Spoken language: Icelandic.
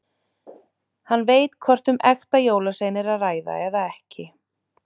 Hann veit hvort um ekta jólasvein er að ræða eða ekki.